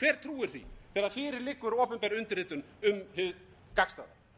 hver trúir því þegar fyrir liggur opinber undirritun um hið gagnstæða góðir landsmenn það